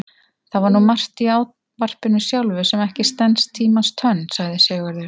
Það er nú margt í ávarpinu sjálfu sem ekki stenst tímans tönn, sagði Sigurður.